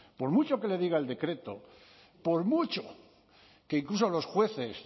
por mucho que le diga el decreto por mucho que incluso los jueces